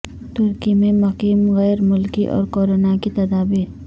ترکی میں مقیم غیر ملکی اور کورونا کی تدابیر